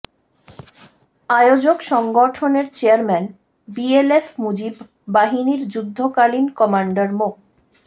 আয়োজক সংগঠনের chairman BLF Mujib বাহিনীর যুদ্ধকালীন কমান্ডার মো